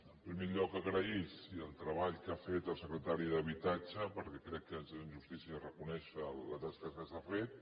en primer lloc agrair el treball que ha fet el secretari d’habitatge perquè crec que és de justícia reconèixer la tasca que s’ha fet